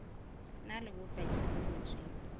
na le bopaki bo ngotsweng